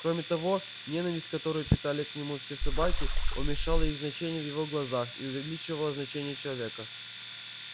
кроме того ненависть которую питали к нему все собаки уменьшала их значение в его глазах и увеличивала значение человека